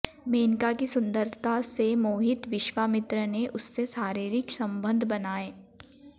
मेनका की सुंदरता से मोहित विश्वामित्र ने उससे शारीरिक संबंध बनाए